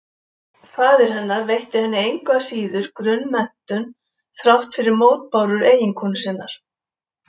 Faðir hennar veitti henni engu að síður grunnmenntun þrátt fyrir mótbárur eiginkonu sinnar.